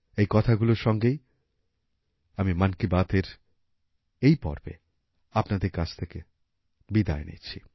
এই কথাগুলোর সঙ্গেই আমি মন কী বাতের এই পর্বএ আপনাদের থেকে বিদায় নিচ্ছি